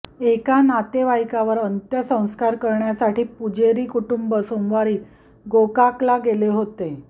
एका नातेवाईकावर अंत्यसंस्कार करण्यासाठी पुजेरी कुटुंब सोमवारी गोकाकला गेले होते